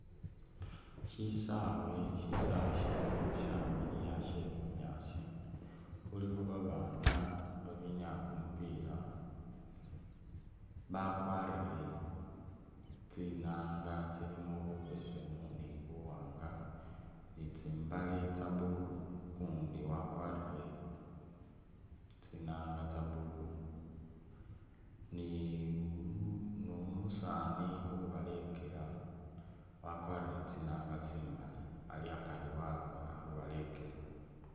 Shisawe shesawe shino shamiliya shee bunyaasi khulikho babana abinyaya kumupila bakwarire tsinanga tsilimo bubesemu ni buwanga ni tsimbale tsa blue, ukundi wakwarire tsinanga tsa blue ni umusani ubalekela akwarire tsinanga tsi’mali ali akari wawe ali khubalekela .